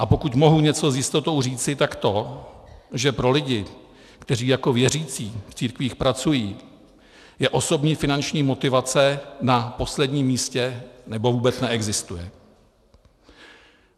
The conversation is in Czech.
A pokud mohu něco s jistotou říci, tak to, že pro lidi, kteří jako věřící v církvích pracují, je osobní finanční motivace na posledním místě, nebo vůbec neexistuje.